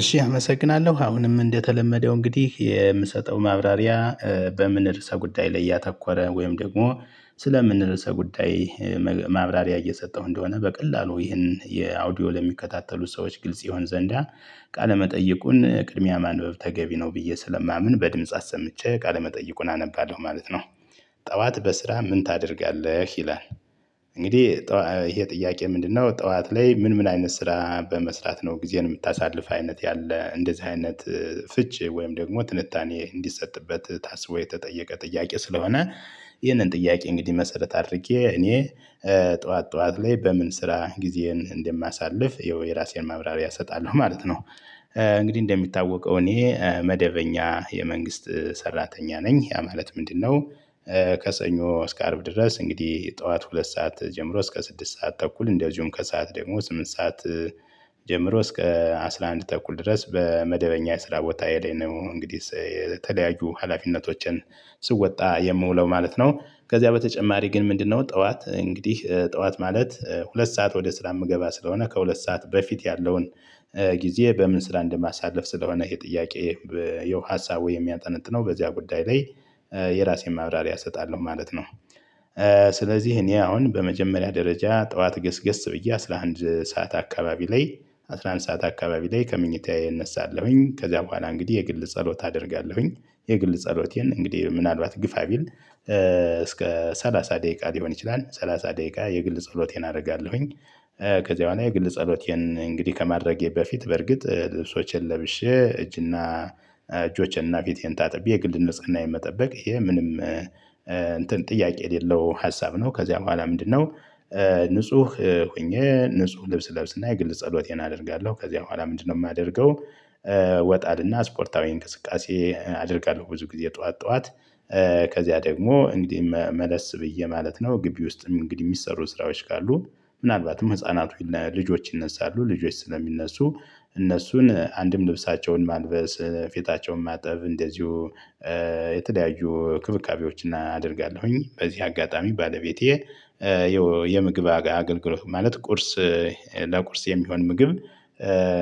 እሺ አመሰግናለው አሁንም እንደተለመደው እንግዲህ የምሰጠው ማብራሪያ በምን ርዕሰ ጉዳይ ላይ ያተኮረ ወይም ደግሞ ስለ ምን ርዕሰ ጉዳይ ማብራሪያ እየሰጠው እንደሆነ በቀላሉ ይሄን የአውዲዮ ለሚከታተሉ ሰዎች ግልጽ ይሆን ዘንዳ ቃለ መጠየቁን ቅድሚያ ማንበብ ተገቢ ነው ብዬ ስለማምን በድምጽ አሰምቼ ቃለ መጠይቁን አነባሎህ ማለት ነው። ጥዋት በስራ ምን ታደርጊያለሽ ይላል? እንግዲህ ጥዋ ይሄ ጥያቄ ምንድነው ጥዋት ላይ ምን ምን አይነት ስራ በመስራት ነው ጊዜን የምታሳልፍ አይነት ያለ እንደዚህ አይነት ፍቺ ወይም ደግሞ ትንታኔ እንዲሰጥበት ታስቦ የተጠየቀ ጥያቄ ስለሆነ። ይህንን ጥያቄ እንግዲህ መሰረት አድርጌ እኔ ጥዋት ጥዋት ላይ በምን ስራ ጊዜን እንደማሳልፍ ይኸው የራሴን ማብራሪያ እሰጣለሁ ማለት ነው። እንግዲህ እንደሚታወቀው እኔ መደበኛ የመንግስት ሰራተኛ ነኝ ያ ማለት ምንድነው? ከሰኞ እስከ አርብ ድረስ እንግዲህ ጥዋት ሁለት ሰዓት ጀምሮ እስከ ስድስት ሰዓት ተኩል እንደዚሁም ከሰአት ደግሞ ስምንት ሰዓት። ጀምሮ እስከ አስራ አንድ ተኩል ድረስ በመደበኛ የስራ ቦታዬ ላይ ነው እንግዲህ የተለያዩ ሀላፊነቶችን ስወጣ የምውለው ማለት ነው። ከዚያ በተጨማሪ ግን ምንድነው ጥዋት እንግዲህ ጥዋት ማለት ሁለት ሰዓት ወደ ስራ እምገባ ስለሆነ ከሁለት ሰዓት በፊት ያለውን ጊዜ በምን ስራ እንደማሳልፍ ስለሆነ ይሄ ጥያቄ ያው ሀሳብ ወይ የሚያጠነጥነው በዚያ ጉዳይ ላይ የራሴን ማብራሪያ እሰጣለሁ ማለት ነው። ስለዚህ እኔ አሁን በመጀመሪያ ደረጃ ጥዋት ገስገስ ብዬ አስራ ሃንድ ሰዓት አካባቢ ላይ አስራ አንድ ሰዓት አካባቢ ላይ ከመኝታዬ እነሳለሁኝ ከዛ በኋላ እንግዲህ የግል ጸሎት አደርጋለሁኝ የግል ጸሎቴን እንግዲህ ምናልባት ግፋ ቢል እስከ ሰላሳ ደቂቃ ሊሆን ይችላል ሰላሳ ደቂቃ የግል ጸሎቴን አረጋለሁኝ። ከዚያ ላይ የግል ጸሎቴን እንግዲህ ከማድረጌ በፊት በርግጥ ልብሶቼን ለብሼ እጅና እጆቼን እና ፊቴን ታጥቤ የግል ንጽህናዬን መጠበቅ እሄም ምንም እንትን ጥያቄ የሌለው ሀሳብ ነው። ከዚያ በኋላ ምንድነው? ንጹህ ሁኜ ንጹህ ልብስ ለብስና የግል ጸሎቴን አደርጋለው። ከዚያ በኋላ ምንድነው የማደርገው? ይወጣልና ስፖርታዊ እንቅስቃሴ አደርጋለሁ ብዙ ጊዜ ጥዋት ጥዋት። ከዚያ ደግሞ እንዲ መለስ ብዬ ማለት ነው። ግቢ ውስጥም እንግዲህ የሚሰሩ ስራዎች ካሉ ምናልባትም ህፃናቱ እነ ልጆች ይነሳሉ ልጆች ስለሚነሱ። እነሱን አንድም ልብሳቸውን ማልበስ ፊታቸውን ማጠብ እንደዚሁ የተለያዩ እንክብካቤዎችን አደርጋለሁኝ። በዚህ አጋጣሚ ባለቤቴ የምግብ አገልግሎት ማለት ቁርስ ለቁርስ የሚሆን ምግብ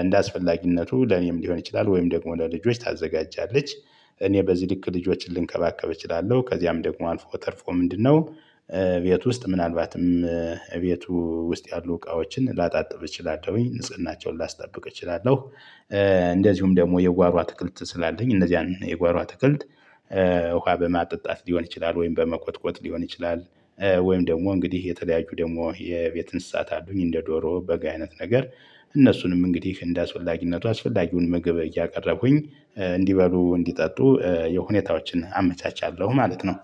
እንደ አስፈላጊነቱ ለኔም ሊሆን ይችላል ወይም ደግሞ ለልጆች ታዘጋጃለች። እኔ በዚህ ልክ ልጆችን ልንከባከብ እችላለው። ከዚያም ደግሞ አልፎ ተርፎ ምንድነው? ቤት ውስጥ ምናልባትም ቤቱ ውስጥ ያሉ እቃዎችን ላጣጥብ እችላለሁኝ ንጽህናቸውን ላስጠብቅ እችላለሁ። እንደዚሁም ደግሞ የጓሮ አትክልት ስላለኝ እነዚያን የጓሮ አትክልት ውሃ በማጠጣት ሊሆን ይችላል። ወይም በመቆጥቆጥ ሊሆን ይችላል። ወይም ደግሞ እንግዲህ የተለያዩ ደሞ የቤት እንስሳት አሉኝ እንደ ዶሮ በግ አይነት ነገር። እነሱንም እንግዲህ እንደ አስፈላጊነቱ አስፈላጊውን ምግብ እያቀረብሁኝ እንዲበሉ እንዲጠጡ የሁኔታዎችን አመቻቻለሁ ማለት ነው።